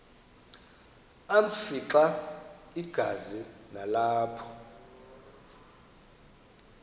afimxa igazi nalapho